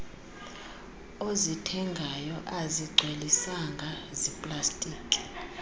ozithengayo azigcwelisanga ziplastiki